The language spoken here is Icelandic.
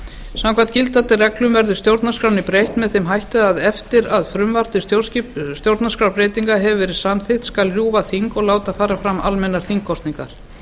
samkvæmt gildandi reglum verður stjórnarskránni breytt með þeim hætti að eftir að frumvarp til stjórnarskrárbreytingar hefur verið samþykkt skal rjúfa þing og láta fara fram almennar þingkosningar